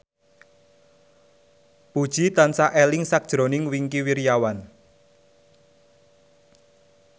Puji tansah eling sakjroning Wingky Wiryawan